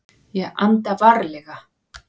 Ég anda varlega.